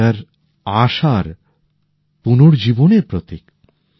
Easter আশার পুনর্জীবনের প্রতীক